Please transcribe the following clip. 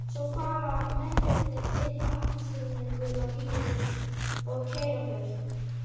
Svo fara mennirnir inn í appelsínugulan bíl og keyra burtu.